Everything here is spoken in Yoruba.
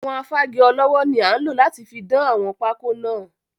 Àwọn Afági ọlọ́wọ́ ni a nlo láti fi dán àwọn pákọ́ náà.